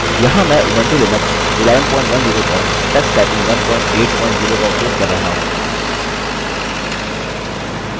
यहाँ मैं Ubuntu Linux 1110 पर tux typing 180 का उपयोग कर रहा हूँ